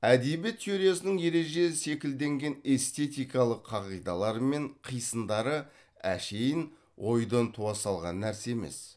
әдебиет теориясының ереже секілденген эстетикалық қағидалары мен қисындары әшейін ойдан туа салған нәрсе емес